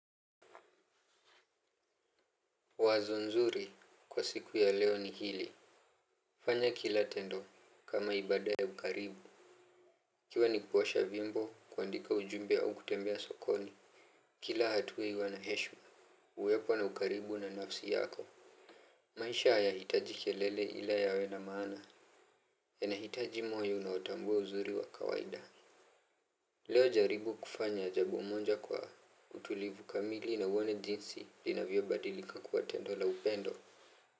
Wazo nzuri kwa siku ya leo ni hili fanya kila tendo kama ibada ya ukaribu. Ikiwa ni kuosha vyombo kuandika ujumbe au kutembea sokoni kila hatua iwe na heshima uwepo na ukaribu na nafsi yako maisha hayahitaji kelele ila yawe na maana. Yanahitaji moyo unaotambua uzuri wa kawaida leo jaribu kufanya jambo moja kwa utulivu kamili na uone jinsi linavyobadilika kuwa tendo la upendo.